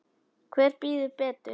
Hver býður betur?